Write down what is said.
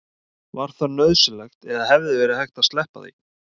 var það nauðsynlegt eða hefði verið hægt að sleppa því